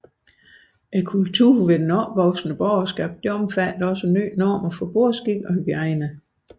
Det opvoksende borgerskabs kultur omfattede også nye normer for bordskik og hygiejne